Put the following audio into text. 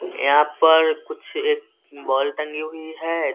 यहाँ पर कुछ एक बोल टंगी हुई है।